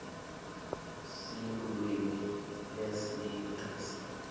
sinlulwimi lesinqisi